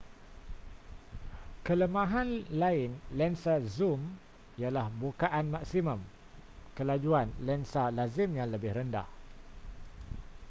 kelemahan lain lensa zoom ialah bukaan maksimum kelajuan lensa lazimnya lebih rendah